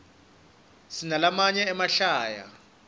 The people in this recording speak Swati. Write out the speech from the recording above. sinalamanye emahlaya